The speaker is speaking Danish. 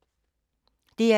DR2